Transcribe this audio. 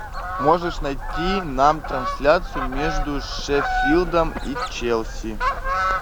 можешь найти нам трансляцию между шеффилдом и челси